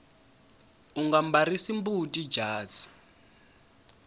unga mbarisi mbuti jazi